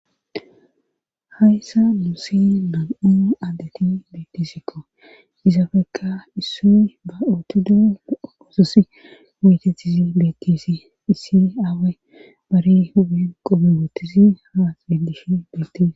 hayssa nuusi nam'u addeti beettisikko izafekka issoy ba ootidoe ososi metetisi beekisi issi aawe bari huyon qope boottisi ha sedishi bettisi